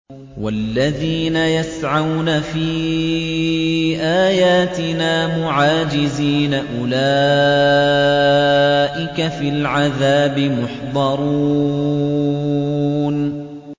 وَالَّذِينَ يَسْعَوْنَ فِي آيَاتِنَا مُعَاجِزِينَ أُولَٰئِكَ فِي الْعَذَابِ مُحْضَرُونَ